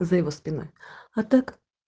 за его спиной а так